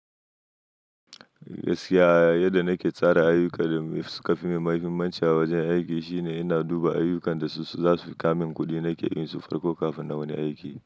Gaskiya yadda nake tsara ayuka da suka fi mahaifimanci a wajen aiki shine ina duba ayukan da su za su fi ka min kuɗi nake yi su farko kafin na wani aiki.